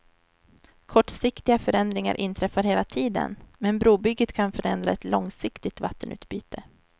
Kortsiktiga förändringar inträffar hela tiden, men brobygget kan förändra ett långsiktigt vattenutbyte.